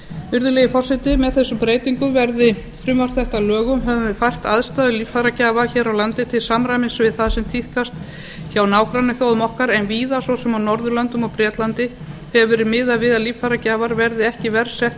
virðulegi forseti með þessum breytingum verði frumvarp þetta að lögum höfum við fært aðstæður líffæragjafa hér á landi til samræmis við það sem tíðkast hjá nágrannaþjóðum okkar en víða svo sem á norðurlöndum og bretlandi hefur verið miðað við að líffæragjafar verði ekki verr settir